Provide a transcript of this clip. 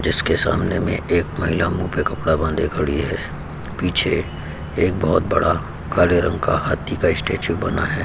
जिसके सामने में एक महिला मुँह पे कपड़ा बांधे खड़ी है। पीछे एक बहुत बड़ा काले रंग का हाथी का स्टेचू बना है।